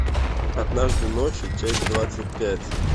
однажды ночью часть двадцать пять